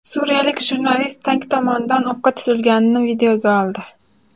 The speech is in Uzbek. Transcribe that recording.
Suriyalik jurnalist tank tomonidan o‘qqa tutilganini videoga oldi.